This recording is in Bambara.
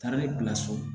Taara ne bila so